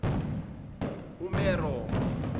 umeromo